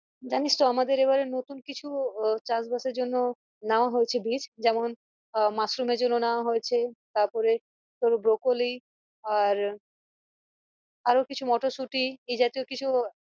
জানিস তো আমাদেরএবারে নতুন কিছু উহ চাষ বাসের জন্য নেওয়া হয়েছে বীজ যেমন আহ মাশরুমের জন্য নেওয়া হয়েছে তারপরে তোর ব্রকলি আর আরও কিছু মটর সুটি এই জাতীয় কিছু